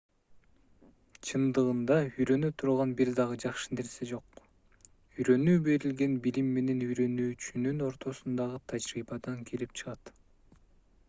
чындыгында үйрөнө турган бир дагы жакшы нерсе жок үйрөнүү берилген билим менен үйрөнүүчүнүн ортосундагы тажрыйбадан келип чыгат